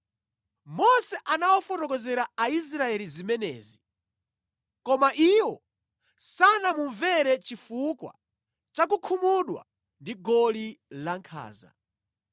Mose anawafotokozera Aisraeli zimenezi, koma iwo sanamumvere chifukwa cha kukhumudwa ndi goli lankhanza.